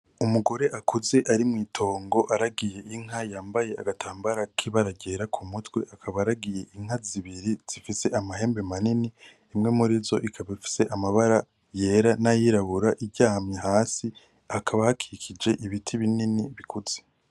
Umugore akuze ari mw’itongo aragiye inka bambaye agatambara kibara ryera kumutwe akaba aragiye inka zibiri zifise amahembe manini imwe murizo ikaba ifise amabara yera n'ayirabura iryamye hasi hakaba hakikije ibiti binini bikuze.